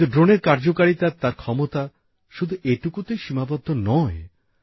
কিন্তু ড্রোনের কার্যকারিতা তার ক্ষমতা শুধু এটুকুতেই সীমাবদ্ধ নয়